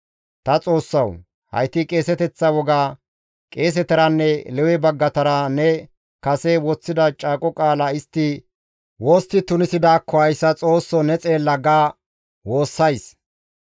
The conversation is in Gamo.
«Ta Xoossawu! Hayti qeeseteththa woga, qeesetaranne Lewe baggatara ne kase woththida caaqo qaala istti wostti tunisidaakko hayssa Xoossoo, ne xeella!» ga woossays.